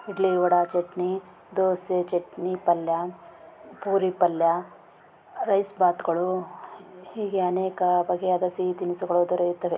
Idli vada chutney dosa chutney palya puri palya rice bath ಗಳು ಹೀಗೆ ಅನೇಕ ಬಗೆಯಾದ ಸಿಹಿ ತಿನಿಸುಗಳು ದೊರೆಯುತ್ತದೆ.